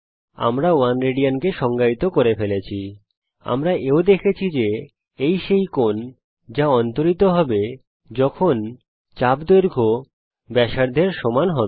আমরা 1 রাদ কে সংজ্ঞায়িত করে ফেলেছি আমরা এও দেখেছি যে এই সেই কোণ যা অন্তরিত হবে যখন চাপ দৈর্ঘ্য ব্যাসার্ধের সমান হবে